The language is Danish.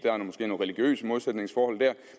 nogle religiøse modsætningsforhold